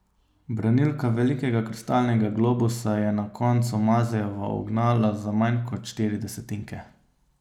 Branilka velikega kristalnega globusa je na koncu Mazejevo ugnala za manj kot štiri desetinke.